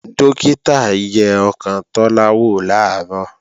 Dókítà yẹ ọkàn Tọ́lá wò làárọ̀